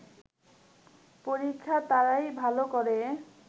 পরীক্ষায় তারাই ভালো করে